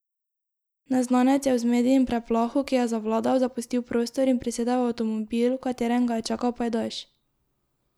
Neznanec je v zmedi in preplahu, ki je zavladal, zapustil prostor in prisedel v avtomobil, v katerem ga je čakal pajdaš.